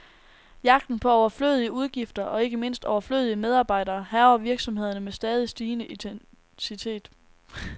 Jagten på overflødige udgifter, og ikke mindst overflødige medarbejdere, hærger virksomhederne med stadig stigende intensitet.